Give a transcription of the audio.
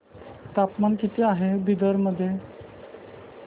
तापमान किती आहे बिदर मध्ये